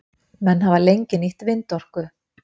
menn hafa lengi nýtt vindorku